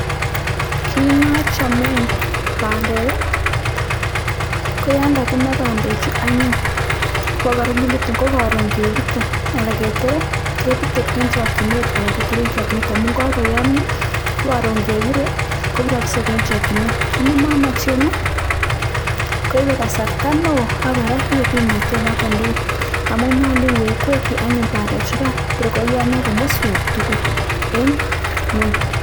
Kiit nochome bandek ko yon kakimaa bandechu anyun kokararanitun, ko karon kepute anan ketorei, keputei eng chokchinet anan ketorei tinget amun kakoyomio ko karon kepirei ko piroksei eng chokchinet. Kiit nemomochen koipe kasarta neo ako kora koipe kimnotet noto tugul amun nyolu iwekwekchin anyun bandechukan tor koyomio komoswek tugul eng ingweny.